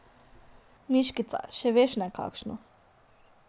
Miškica, še veš ne, kakšno.